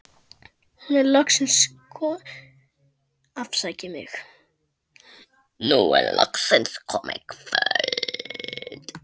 Nú er loksins komið kvöld.